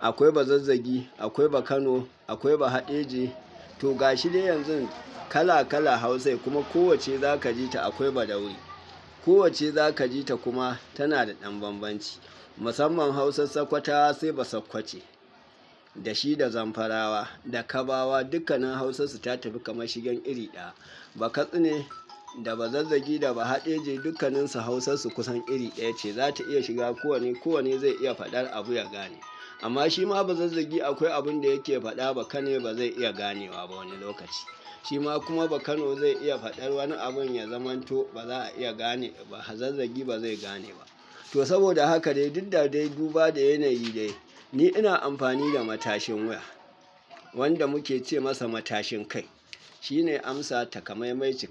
akwai Bazazzagi, akwai Bakano, akwai Bahaɗeje. To ga shi dai yanzu kala kala Hausai kuma kowacce za ka ji ta akwai baɗaure. Kowacce za ka ji ta kuma tana da ɗan bambanci. Musamman Hausar Sokotawa sai Basakkwace. Da shi da Zamfarawa, da Kabawa dukkannin Hausarsu ta tafi kamar shigen iri ɗaya. Bakatsine da Bazazzagi da Bahaɗeje dukkanninsu Hausarsu kusan iri ɗaya ce. Za ta iya shiga kowane, kowane zai iya faɗar abu ya gane. Amma shi ma Bazazzagi akwai abin da yake faɗa Bakane ba zai iya ganewa ba wani lokaci. Shi ma kuma Bakano zai iya faɗar wani abin ya zamanto ba za a iya gane ba, Bazazzagi ba zai gane ba. To saboda haka dai duk da dai duba da yanayi dai, ni ina amfani da matashin wuya. Wanda muke ce masa matashin kai. Shi ne amsa takamaimai cikakke.